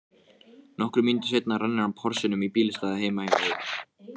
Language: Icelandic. Nokkrum mínútum seinna rennir hann Porsinum í bílastæðið heima hjá